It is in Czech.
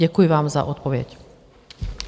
Děkuji vám za odpověď.